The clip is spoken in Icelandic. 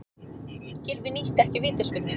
Gylfi nýtti ekki vítaspyrnu